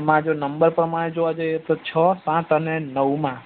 એમાં જો number પ્રમાણે જોવા જઈએ તો છ સાત અને નવ માં